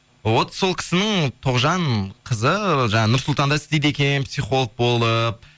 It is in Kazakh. вот сол кісінің тоғжан қызы жаңағы нұрсұлтанда істейді екен психолог болып